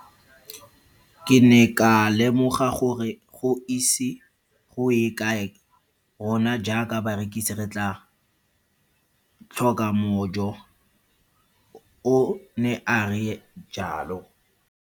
Ke ne ka lemoga gore go ise go ye kae rona jaaka barekise re tla tlhoka mojo, o ne a re jalo.